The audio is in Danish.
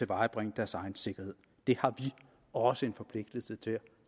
vare på deres egen sikkerhed det har vi også en forpligtelse til at